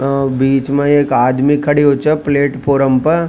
बीच में एक आदमी खड़ा हो छ प्लेटफार्म पर।